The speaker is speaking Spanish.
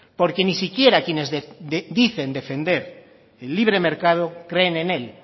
porque ni siquiera quienes dicen defender el libre mercado creen en él